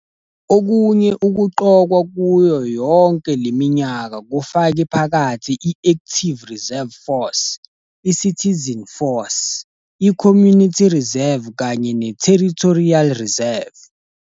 Okunye ukuqokwa kuyo yonke le minyaka kufake phakathi i-Active Reserve Force, iCitizen Force, iCommunity Reserve kanye neTerritorial Reserve.